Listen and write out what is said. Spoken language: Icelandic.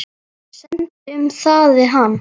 Semdu um það við hann.